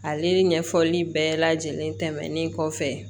Ale ɲɛfɔli bɛɛ lajɛlen tɛmɛnen kɔfɛ